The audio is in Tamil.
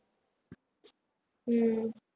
உம்